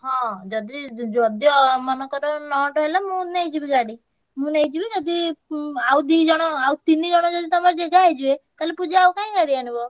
ହଁ ଯଦି ଯଦିଓ ମନେକର ନଅଣ୍ଟ ହେଲା ମୁଁ ନେଇଯିବି ଗାଡି। ମୁଁ ନେଇଯିବି ଯଦି ଉଁ ଆଉ ଦିଜଣ ଆଉ ତିନିଜଣ ଯଦି ତମର ଜେଗା ହେଇଯିବେ ତାହେଲେ ପୂଜା ଆଉ କାଇଁ ଗାଡି ଆଣିବ।